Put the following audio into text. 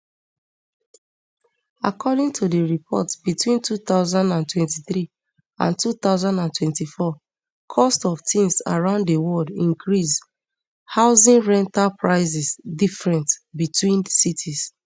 according to di report between two thousand and twenty-three and two thousand and twenty-four cost of tins around di world increase housing rental prices different between cities